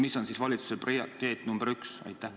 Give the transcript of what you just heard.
Mis on valitsuse prioriteet number 1?